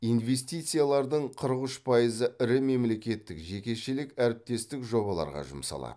инвестициялардың қырық үш пайызы ірі мемлекеттік жекешелік әріптестік жобаларға жұмсалады